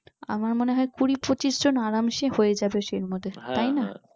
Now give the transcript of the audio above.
আমার মনে হয় কুড়ি পঁচিশজন আরামসে হয়ে হবে এর মধ্যে